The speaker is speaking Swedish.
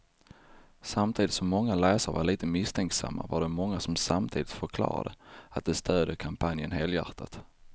Samtidigt som många läsare var lite misstänksamma var det många som samtidigt förklarade att de stödjer kampanjen helhjärtat.